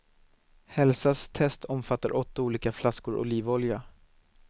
Hälsas test omfattar åtta olika flaskor olivolja.